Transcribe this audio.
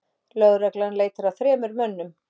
Lögreglan leitar að þremur mönnum